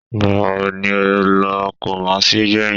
Ìgbà wo ni o lọ kumasi gbẹ̀yìn?